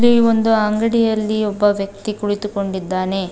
ಈ ಒಂದು ಅಂಗಡಿಯಲ್ಲಿ ಒಬ್ಬ ವ್ಯಕ್ತಿ ಕುಳಿತುಕೊಂಡಿದ್ದಾನೆ.